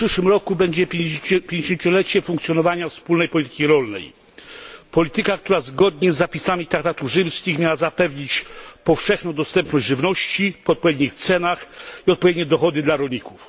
W przyszłym roku będziemy obchodzić pięćdziesięciolecie funkcjonowania wspólnej polityki rolnej. Polityka, która zgodnie z zapisami Traktatów Rzymskich miała zapewnić powszechną dostępność do żywności, po odpowiednich cenach i odpowiednie dochody dla rolników.